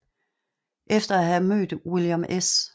Efter at have mødt William S